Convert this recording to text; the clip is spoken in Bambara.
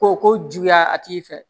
Ko ko juguya a tigi fɛ